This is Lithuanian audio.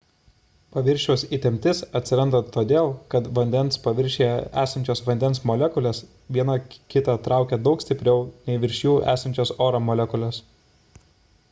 paviršiaus įtemptis atsiranda todėl kad vandens paviršiuje esančios vandens molekulės viena kitą traukia daug stipriau nei virš jų esančios oro molekulės